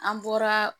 An bɔra